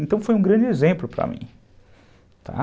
Então, foi um grande exemplo para mim, tá.